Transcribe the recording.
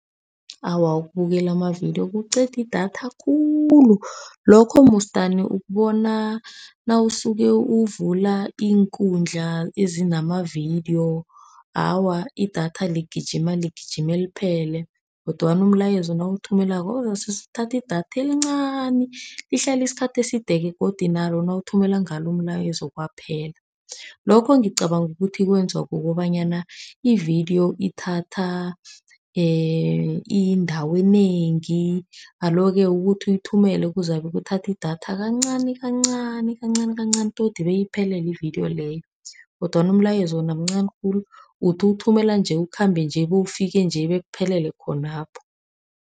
Awa, ukubukela amavidiyo kuqeda idatha khulu. Lokho musi dani ukubona nawusuke uvula iinkundla ezinamavidiyo, awa, idatha ligijima ligijime liphele. Kodwana umlayezo nawuwuthumelako uzase uthathe idatha elincani. Lihlala isikhathi eside-ke godu nalo nawuthumela ngalo umlayezo kwaphela. Lokho ngicabanga ukuthi kwenziwa kukobanyana ividiyo ithatha indawo enengi. Alo-ke ukuthi uyithumele kuzabe kuthatha idatha kancani kancani, kancani kancani todi beyiphelele ividiyo leyo. Kodwana umlayezo wona mncani khulu, uthi uwuthumela nje, ukhambe nje, bewufike nje, bekuphelele khonapho.